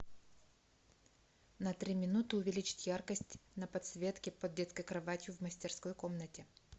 на три минуты увеличить яркость на подсветке под детской кроватью в мастерской комнате